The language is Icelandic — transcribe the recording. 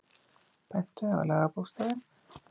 Bentu á lagabókstafinn